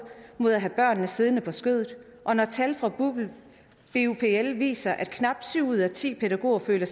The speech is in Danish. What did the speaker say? mod at have børnene siddende på skødet og når tal fra bupl viser at knap syv ud af ti pædagoger føler